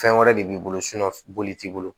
Fɛn wɛrɛ de b'i bolo boli t'i bolo